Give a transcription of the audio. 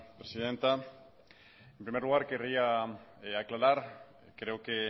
presidenta en primer lugar querría aclarar creo que